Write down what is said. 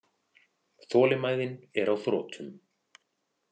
Þolinmæðin er á þrotum.